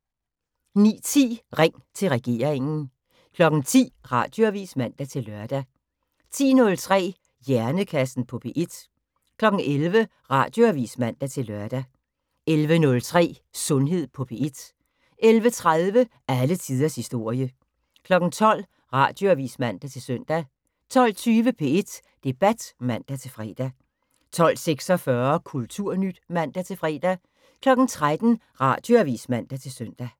09:10: Ring til regeringen 10:00: Radioavis (man-lør) 10:03: Hjernekassen på P1 11:00: Radioavis (man-lør) 11:03: Sundhed på P1 11:30: Alle tiders historie 12:00: Radioavis (man-søn) 12:20: P1 Debat (man-fre) 12:46: Kulturnyt (man-fre) 13:00: Radioavis (man-søn)